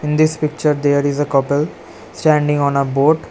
In this picture there is a couple standing on a boat.